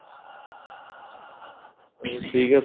ਚਲੋ ਠੀਕ ਏ